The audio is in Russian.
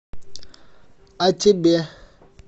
а тебе